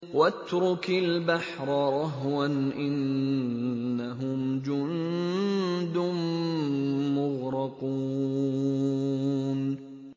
وَاتْرُكِ الْبَحْرَ رَهْوًا ۖ إِنَّهُمْ جُندٌ مُّغْرَقُونَ